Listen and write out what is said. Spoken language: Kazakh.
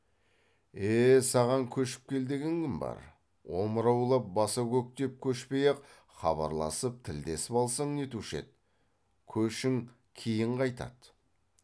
е саған көшіп кел деген кім бар омыраулап баса көктеп көшпей ақ хабарласып тілдесіп алсаң нетуші еді көшің кейін қайтады